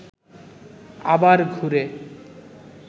আবার ঘুরে